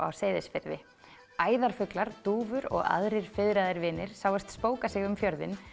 á Seyðisfirði dúfur og aðrir fiðraðir vinir sáust spóka sig um fjörðinn